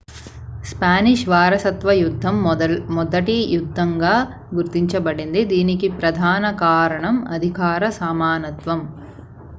Spanish వారసత్వ యుద్ధం మొదటి యుద్ధంగా గుర్తించబడింది దీనికి ప్రధాన కారణం అధికార సమానత్వం